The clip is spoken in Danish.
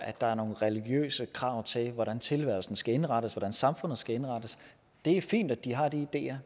der er nogle religiøse krav til hvordan tilværelsen skal indrettes hvordan samfundet skal indrettes det er fint at de har de ideer